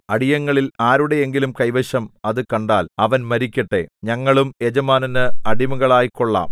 അടിയങ്ങളിൽ ആരുടെ എങ്കിലും കൈവശം അത് കണ്ടാൽ അവൻ മരിക്കട്ടെ ഞങ്ങളും യജമാനന് അടിമകളായിക്കൊള്ളാം